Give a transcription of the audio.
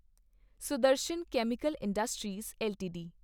Sudarshan chemical industries LTD